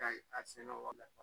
Ka ɲi a sɛnɛ wa